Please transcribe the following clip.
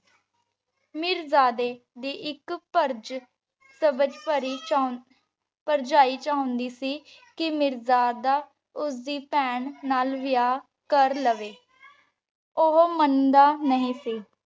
ਮੀਰਜਾਦੇ ਦੀ ਇਕ ਭਰਜ਼ ਸਬਜ਼ ਪਰੀ ਚਾਹੁੰਦੀ ਭਰਜਾਈ ਚਾਹੁੰਦੀ ਸੀ ਕਿ ਮੀਰਜ਼ਾਦਾ ਉਸ ਦੀ ਭੈਣ ਨਾਲ ਵਿਆਹ ਕਰ ਲਵੇ। ਉਹ ਮੰਨਦਾ ਨਹੀਂ ਸੀ।